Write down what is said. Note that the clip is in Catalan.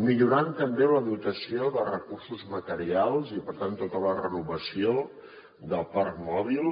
millorant també la dotació de recursos materials i per tant tota la renovació del parc mòbil